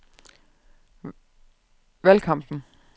valgkampen